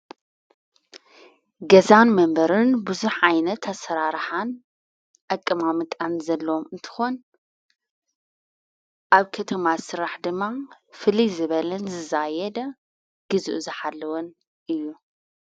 ገዛን መንበርን ብዙኅ ዓይነት ኣሠራርሓን ኣቀማምቃን ዘለም እንትኾን ኣብ ከቶማ ሥራሕ ድማ ፊልዜበልን ዝዛየደ ጊዝዕ ዝኃለወን እዩ።